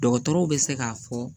Dɔgɔtɔrɔw bɛ se k'a fɔ